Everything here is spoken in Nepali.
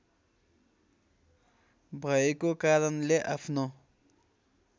भएको कारणले आफ्नो